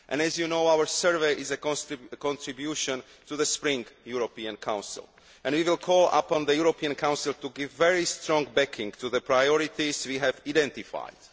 As you know, our survey is a contribution to the Spring European Council and we will call upon the European Council to give very strong backing to the priorities we have identified.